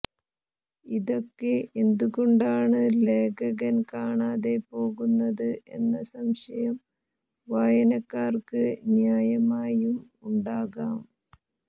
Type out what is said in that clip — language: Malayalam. ഇതൊക്കെ എന്തുകൊണ്ടാണ് ലേഖകൻ കാണാതെ പോകുന്നത് എന്ന സംശയം വായനക്കാർക്ക് ന്യായമായും ഉണ്ടാകാം